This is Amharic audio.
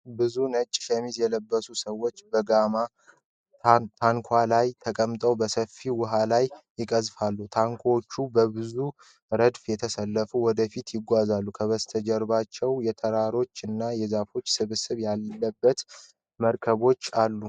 ብዙ ነጭ ሸሚዝ የለበሱ ሰዎች በጋማ ታንኳዎች ላይ ተቀምጠው በሰፊ ውሃ ላይ ይቀዝፋሉ፡፡ ታንኳዎቹ በብዙ ረድፍ ተሰልፈው ወደ ፊት ይጓዛሉ፡፡ ከበስተጀርባው የተራሮች እና የዛፎች ስብስብ ያለበት መርከቦች አሉ፡፡